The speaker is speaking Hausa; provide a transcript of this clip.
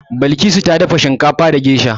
Balkisu ta dafa shinkafa da gesha.